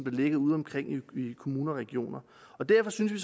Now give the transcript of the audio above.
ligger udeomkring i kommuner og regioner derfor synes vi